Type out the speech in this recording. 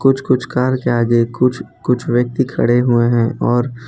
कुछ कुछ कार के आगे कुछ कुछ व्यक्ति खड़े हुए और --